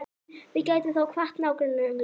Við gætum þá kvatt nágrannana um leið.